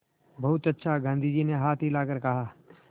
बहुत अच्छा गाँधी जी ने हाथ हिलाकर कहा